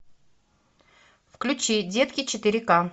включи детки четыре ка